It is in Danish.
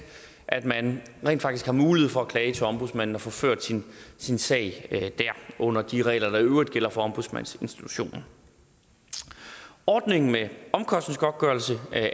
at man rent faktisk har mulighed for at klage til ombudsmanden og få ført sin sag dér under de regler der i øvrigt gælder for ombudsmandsinstitutionen ordningen med omkostningsgodtgørelse